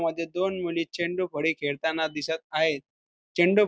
ह्यामध्ये दोन मुली चेंडू फळी खेळताना दिसत आहेत चेंडू--